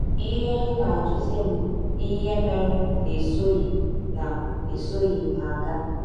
Ihe ha na - ajụzi m bụ ihe mere na esọghị na esọghị m ha gaa.